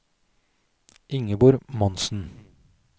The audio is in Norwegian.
Ingeborg Monsen